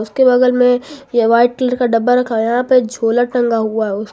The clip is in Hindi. के बगल में यह वाइट कलर का डब्बा रखा यहां पे झोला टंगा हुआ है उसका--